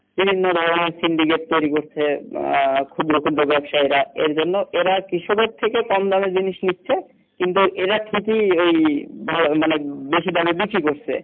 বিভিন্ন ধরনের সিন্ডিকেট তৈরি করছে আহ ক্ষুদ্র ক্ষুদ্র ব্যবসায়ীরা এর জন্য এরা কৃষকের থেকে কম দামে জিনিস নিচ্ছে কিন্তু এরা ঠিকি এই মানে বেশি দামে বিক্রি করছে